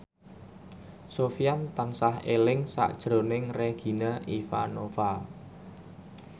Sofyan tansah eling sakjroning Regina Ivanova